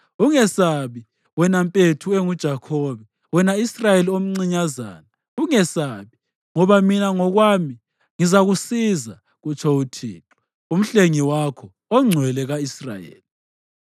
Ungesabi, wena mpethu enguJakhobe, wena Israyeli omncinyazana, ungesabi, ngoba mina ngokwami ngizakusiza,” kutsho uThixo, uMhlengi wakho, oNgcwele ka-Israyeli.